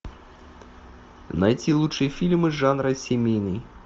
найти лучшие фильмы жанра семейный